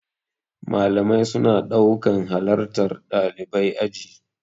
Malamai suna ɗaukan halartar ɗalibai aji.